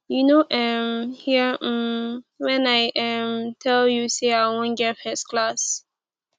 you no um hear um wen i um tel you sey i wan get first class